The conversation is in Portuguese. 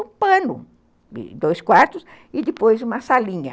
Um pano, dois quartos, e depois uma salinha.